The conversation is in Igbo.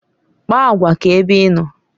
Kpaa agwa ka ebe ịnọ